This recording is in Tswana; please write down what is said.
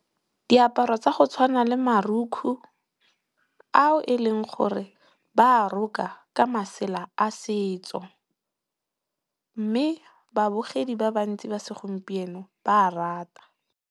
Diaparo tsa go tshwana le marukgu ao e leng gore ba a roka ka masela a setso. Mme, babogedi ba bantsi ba segompieno ba a rata.